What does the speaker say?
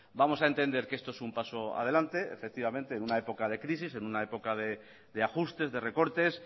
vamos a entender que esto es un paso adelante en una época de crisis en una época de ajustes de recortes